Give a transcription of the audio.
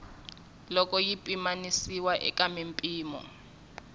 loko yi pimanisiwa eka mimpimo